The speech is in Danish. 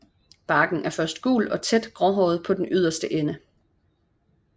Barken er først gul og tæt gråhåret på den yderste ende